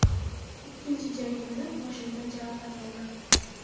Ikkinchi jangimda qoshimdan jarohat oldim.